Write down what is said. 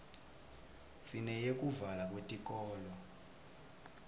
sineyekuvalwa kwetikolo